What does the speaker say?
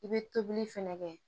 I bɛ tobili fɛnɛ kɛ